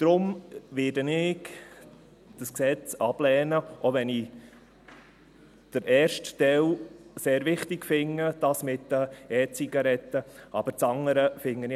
Deshalb werde ich dieses Gesetz ablehnen, auch wenn ich den ersten Teil, diesen zu den EZigaretten, sehr wichtig finde.